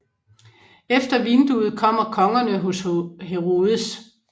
Efter vinduet kommer Kongerne hos Herodes